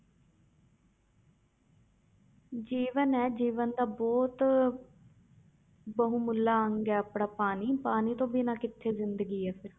ਜੀਵਨ ਹੈ ਜੀਵਨ ਦਾ ਬਹੁਤ ਬਹੁਮੁੱਲਾ ਅੰਗ ਹੈ ਆਪਣਾ ਪਾਣੀ, ਪਾਣੀ ਤੋਂ ਬਿਨਾਂ ਕਿੱਥੇ ਜ਼ਿੰਦਗੀ ਹੈ ਫਿਰ।